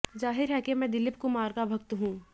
जाहिर है मैं दिलीप कुमार का भक्त हूं